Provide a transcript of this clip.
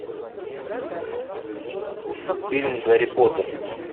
фильм гарри поттер